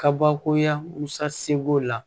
Kabakoya musa seko la